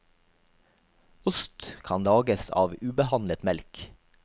Ost kan lages av ubehandlet melk.